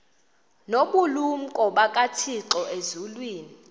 nobulumko bukathixo elizwini